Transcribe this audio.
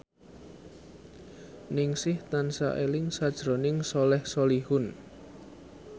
Ningsih tansah eling sakjroning Soleh Solihun